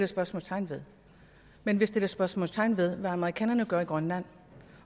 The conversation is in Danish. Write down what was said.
spørgsmålstegn ved men vi sætter spørgsmålstegn ved hvad amerikanerne gør i grønland